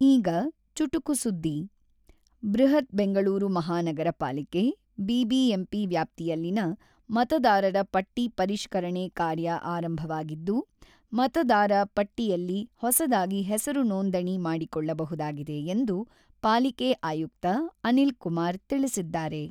ಈಗ ಚುಟುಕು ಸುದ್ದಿ ಬೃಹತ್ ಬೆಂಗಳೂರು ಮಹಾನಗರ ಪಾಲಿಕೆ-ಬಿಬಿಎಂಪಿ ವ್ಯಾಪ್ತಿಯಲ್ಲಿನ ಮತದಾರರ ಪಟ್ಟಿ ಪರಿಷ್ಕರಣೆ ಕಾರ್ಯ ಆರಂಭವಾಗಿದ್ದು, ಮತದಾರ ಪಟ್ಟಿಯಲ್ಲಿ ಹೊಸದಾಗಿ ಹೆಸರು ನೋಂದಣಿ ಮಾಡಿಕೊಳ್ಳಬಹುದಾಗಿದೆ ಎಂದು ಪಾಲಿಕೆ ಆಯುಕ್ತ ಅನಿಲ್‌ಕುಮಾರ್ ತಿಳಿಸಿದ್ದಾರೆ.